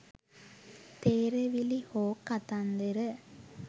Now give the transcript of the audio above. තේරවිලි හෝ කතන්දර